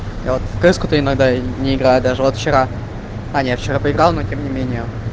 я вот в кс-ку то иногда и не играю даже вот вчера а не я вчера поиграл но тем не менее